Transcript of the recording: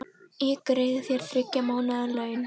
Ég greiði þér þriggja mánaða laun.